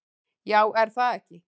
Já, er það ekki?